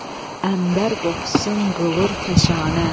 ənbər qoxusun qılır fəşanə.